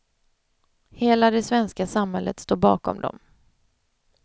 Hela det svenska samhället står bakom dem.